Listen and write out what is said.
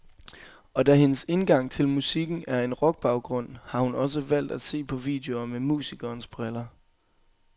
Og da hendes indgang til musikken er en rockbaggrund, har hun også valgt at se på videoer med musikerens briller.